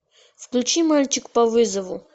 включи мальчик по вызову